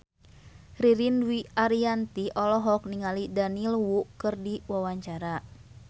Ririn Dwi Ariyanti olohok ningali Daniel Wu keur diwawancara